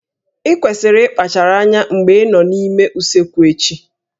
Ị kwesịrị ịkpachara anya mgbe ị nọ n'ime usekwu echi